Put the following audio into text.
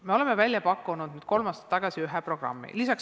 Me oleme välja pakkunud nüüd kolm aastat tagasi ühe programmi.